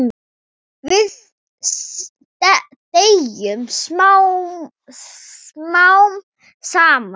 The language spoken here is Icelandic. Við deyjum smám saman.